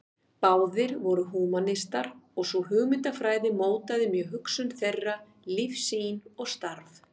Báðir voru húmanistar og sú hugmyndafræði mótaði mjög hugsun þeirra, lífssýn og starf.